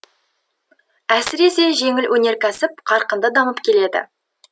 әсіресе жеңіл өнеркәсіп қарқынды дамып келеді